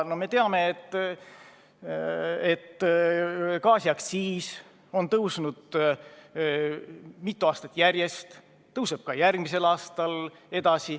No me teame, et gaasiaktsiis on tõusnud mitu aastat järjest ja tõuseb ka järgmisel aastal.